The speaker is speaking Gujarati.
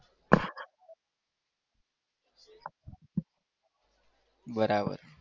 બરાબર